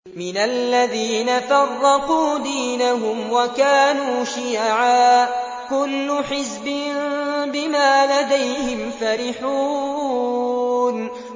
مِنَ الَّذِينَ فَرَّقُوا دِينَهُمْ وَكَانُوا شِيَعًا ۖ كُلُّ حِزْبٍ بِمَا لَدَيْهِمْ فَرِحُونَ